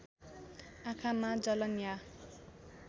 आँखामा जलन या